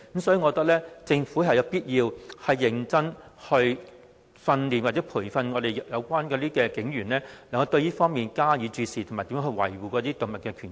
所以，我覺得政府有必要認真培訓警員對虐待動物加以注視，並學習如何維護動物權益。